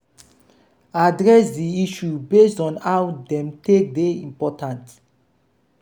address di issue based on how dem take dey important